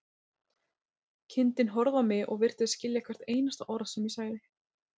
Kindin horfði á mig og virtist skilja hvert einasta orð sem ég sagði.